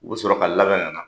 U be sɔrɔ ka labɛn ka na.